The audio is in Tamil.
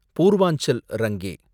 பூர்வாஞ்சல் ரங்கே